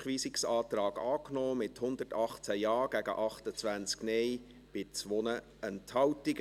Sie haben den Rückweisungsantrag angenommen, mit 118 Ja- gegen 28 Nein-Stimmen bei 2 Enthaltungen.